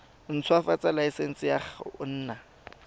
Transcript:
ntshwafatsa laesense ya go nna